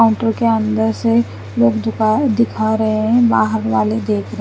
auto के अन्दर से लोग दिका-दिखा रहे है बाहर वाले देख रहे--